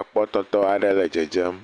Ekpɔtɔtɔ aɖe le dzedzem.